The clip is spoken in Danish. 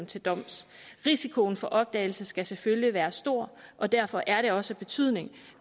til doms risikoen for opdagelse skal selvfølgelig være stor og derfor er det også af betydning